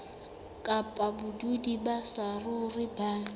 kapa badudi ba saruri ba